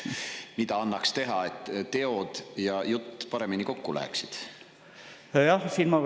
Mida annaks teha, et teod ja jutt paremini kokku läheksid?